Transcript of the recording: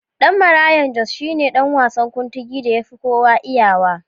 Ɗan Marayan Jos shine ɗan wasan Kuntigi da yafi kowa iyawa.